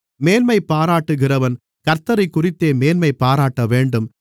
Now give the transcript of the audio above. மேன்மைபாராட்டுகிறவன் கர்த்த்தரைக்குறித்தே மேன்மை பாராட்டவேண்டும்